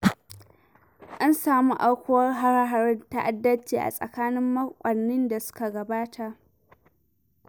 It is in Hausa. An samu aukuwar hare-haren ta'addanci a tsakanin makonnin da suka gabata.